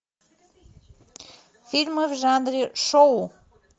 фильмы в жанре шоу